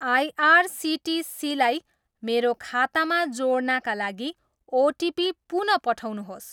आइआरसिटिसीलाई मेरो खातामा जोड्नाका लागि ओटिपी पुन पठाउनुहोस्।